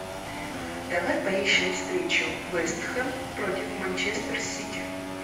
давай поищем встречу вест хэм против манчестер сити